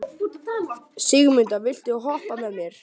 Sigurmunda, viltu hoppa með mér?